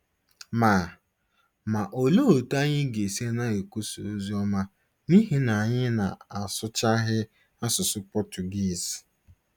Ma Ma olee otú anyị ga-esi na-ekwusa ozi ọma n’ihi na anyị na-asụchaghị asụsụ Pọtụgiiz?